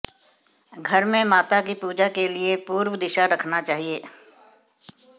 घर में माता की पूजा के लिए पूर्व दिशा रखना चाहिए